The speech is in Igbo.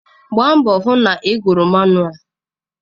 Gbaa mbọ hụ na ị gụrụ menuu.!